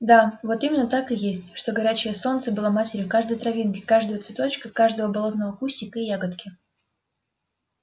да вот именно так и есть что горячее солнце было матерью каждой травинки каждого цветочка каждого болотного кустика и ягодки